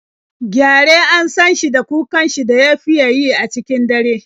Gyare an san shi da kukan shi da ya fiya yi a cikin dare.